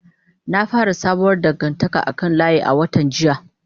Na fara sabuwar dangantaka a kan layi a watan jiya.